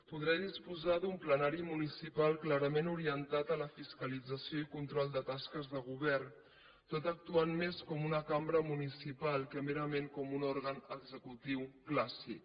podrà disposar d’un plenari municipal clarament orientat a la fiscalització i control de tasques de govern tot actuant més com una cambra municipal que merament com un òrgan executiu clàssic